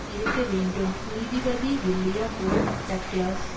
இருக்க வேண்டும் நீதிபதி வில்லியம் ஓ டக்ளாஸ்